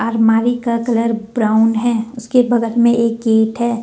अलमारी का colour brown है उसके बगल में एक गेट है।